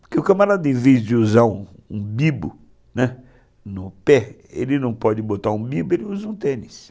Porque o camarada, em vez de usar um bibo, né, no pé, ele não pode botar um bibo, ele usa um tênis.